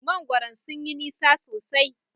Mangwaron sun yi nisa sosai.